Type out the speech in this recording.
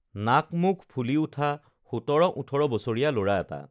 নাক মুখ ফুলি উঠা সোতৰ ওঠৰ বছৰীয়া ল'ৰা এটা